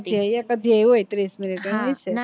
એટલે એક અદ્યાય હોઈ ત્રીસ minute નું એમ હયશે